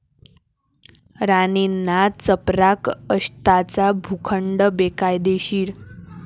राणेंना चपराक, 'अक्षता'चा भूखंड बेकायदेशीर